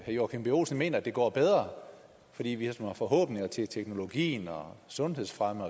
joachim b olsen mener at det går bedre fordi vi ligesom har forhåbninger til teknologien og sundhedsfremme